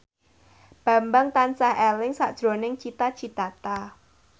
Bambang tansah eling sakjroning Cita Citata